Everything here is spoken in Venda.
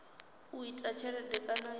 u ita tshelede kana ya